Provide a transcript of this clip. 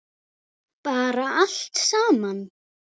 Bara allt saman.